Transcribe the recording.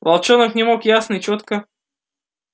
волчонок не мог ясно и чётко